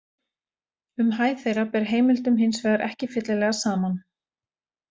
Um hæð þeirra ber heimildum hins vegar ekki fyllilega saman.